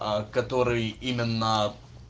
который именно